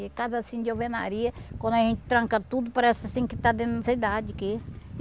E casa assim de alvenaria, quando a gente tranca tudo, parece assim que está dentro da cidade aqui.